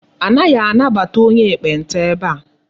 Anaghị anabata onye ekpenta ebe a.